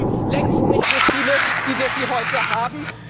Wir glauben, längst nicht so viele wie wir sie heute haben.